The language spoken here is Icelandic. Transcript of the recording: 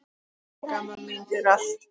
Takk, amma mín, fyrir allt.